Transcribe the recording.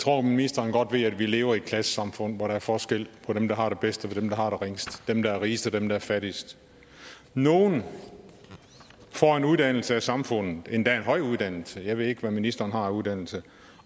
tror at ministeren godt ved at vi lever i et klassesamfund hvor der er forskel på dem der har det bedst og dem der har det ringest dem der er rigest og dem der er fattigst nogle får en uddannelse af samfundet endda en høj uddannelse jeg ved ikke hvad ministeren har af uddannelse